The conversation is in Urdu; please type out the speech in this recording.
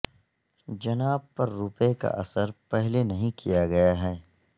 جناب پر روپے کا اثر پہلے نہیں کیا گیا ہے